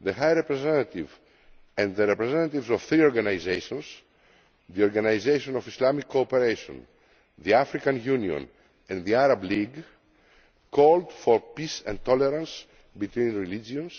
the High Representative and the representatives of three organisations the Organisation of Islamic Cooperation, the African Union and the Arab League called for peace and tolerance between religions